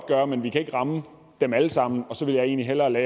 gøre men vi kan ikke ramme dem alle sammen og så vil jeg egentlig hellere